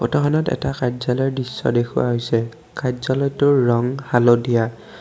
খনত এটা কাৰ্য্যালয়ৰ দৃশ্য দেখুওৱা হৈছে কাৰ্য্যালয়টোৰ ৰং হালধীয়া।